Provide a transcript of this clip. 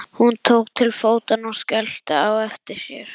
Hún tók til fótanna og skellti á eftir sér.